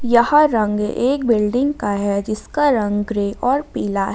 यहां रंग एक बिल्डिंग का है जिसका रंग ग्रे और पीला है।